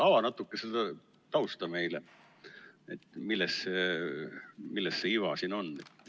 Ava natukene seda tausta meile, milles see iva siin on.